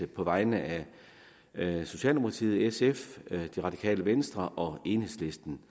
på vegne af socialdemokratiet sf det radikale venstre og enhedslisten